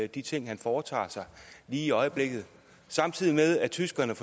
de ting han foretager sig lige i øjeblikket samtidig med at tyskerne